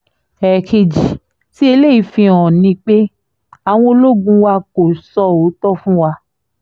ẹ̀ẹ̀kejì tí eléyìí fi hàn ni pé àwọn ológun wa kò sọ òótọ́ fún wa